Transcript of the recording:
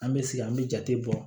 An bɛ sigi an bɛ jate bɔ